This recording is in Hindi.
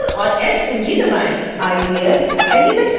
आइए अब एनीमेट करना शुरू करते हैं